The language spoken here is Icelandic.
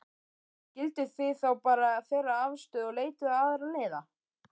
Skilduð þið þá bara þeirra afstöðu og leituðuð aðra leiða?